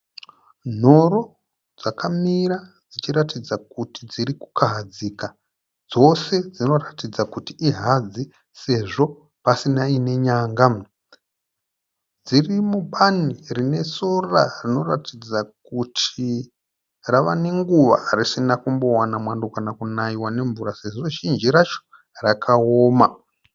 Nhoro dzakamira dzichiratidza kuti dzirikukahadzika. Dzose dzinoratidza kuti ihadzi sezvo pasina inenyanga. Dziri mubani rine sora rinoratidza kuti rava nenguva risina kumbowana mwando kana kunaiwa nemvura sezvo zhinji racho rakaoma.